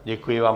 Děkuji vám.